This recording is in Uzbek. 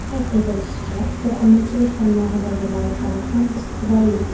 Qayd etilishicha, to‘qimachilik tarmog‘idagi loyihalar ham istiqbolli.